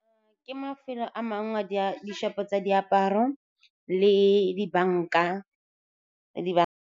Ke mafelo a mangwe a di-shop-o tsa diaparo le dibanka.